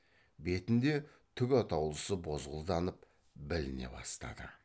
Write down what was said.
бетінде түк атаулысы бозғылданып біліне бастады